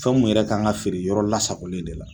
Fɛnw yɛrɛ kan ka feere yɔrɔ lasagolen de la.